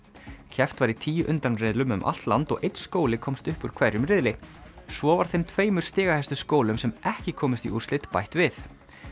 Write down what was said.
keppt var í tíu undanriðlum um allt land og einn skóli komst upp úr hverjum riðli svo var þeim tveimur stigahæstu skólum sem ekki komust í úrslit bætt við